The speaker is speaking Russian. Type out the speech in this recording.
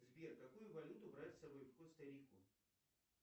сбер какую валюту брать с собой в коста рику